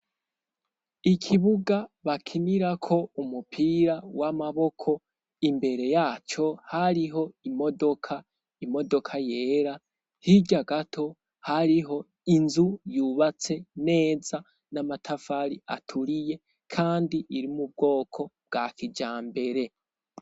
Ikibuga bakinirako umupira w'amaboko, imbere yaco hariho imodoka, imodoka yera, hirya gato hariho inzu yubatse neza n'amatafari aturiye, kandi iri mubwoko bwa kijambere.